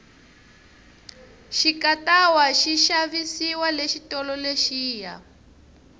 xikatawa xi xavisiwa le xitolo lexiya